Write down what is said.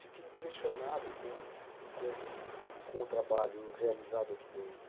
Fiquei impressionado com com o trabalho realizado aqui dentro.